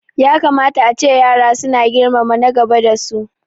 Ya kamata ace yara su na girmama na gaba da su